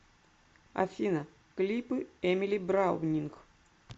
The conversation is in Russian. афина клипы эмили браунинг